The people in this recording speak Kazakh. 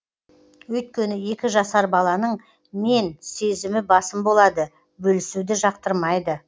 өйткені екі жасар баланың мен сезімі басым болады бөлісуді жақтырмайды